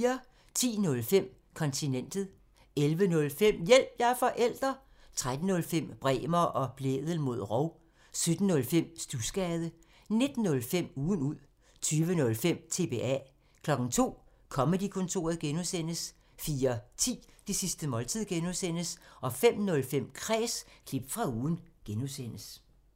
10:05: Kontinentet 11:05: Hjælp – jeg er forælder! 13:05: Bremer og Blædel mod rov 17:05: Studsgade 19:05: Ugen ud 20:05: TBA 02:00: Comedy-kontoret (G) 04:10: Det sidste måltid (G) 05:05: Kræs – klip fra ugen (G)